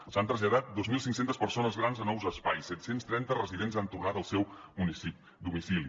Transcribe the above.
s’han traslladat dos mil cinc cents persones grans a nous espais set cents i trenta residents han tornat al seu domicili